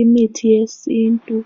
Imithi yesintu